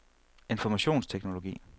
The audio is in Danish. informationsteknologi